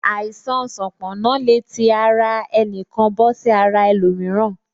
Àìsàn sanponna le tí àti ara ẹnikan bọ sí ara ẹlòmíràn